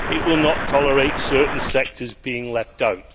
it will not tolerate certain sectors being left out.